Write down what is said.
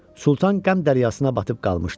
Sultan qəm dəryasına batıb qalmışdı.